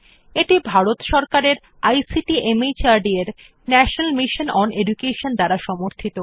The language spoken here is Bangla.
এটি ভারত সরকারের আইসিটি মাহর্দ এর ন্যাশনাল মিশন ওন এডুকেশন দ্বারা সমর্থিত